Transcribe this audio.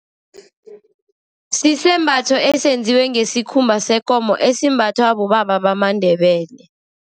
Sisembatho esenziwe ngesikhumba sekomo, esembathwa bobaba bamaNdebele.